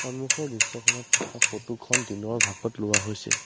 সন্মুখৰ দৃশ্যখনত থকা ফটো খন দিনৰ ভাগত লোৱা হৈছে।